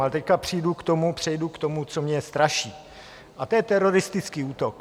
Ale teď přejdu k tomu, co mě straší, a to je teroristický útok.